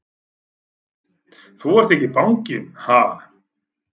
Þú ert ekki banginn, ha!